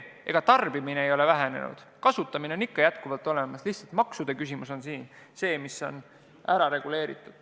Ega tarbimine ei ole vähenenud, kasutamine on ikka jätkuvalt olemas, lihtsalt maksude küsimus peab olema ära reguleeritud.